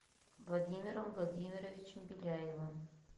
владимиром владимировичем беляевым